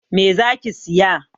Me zaki siya?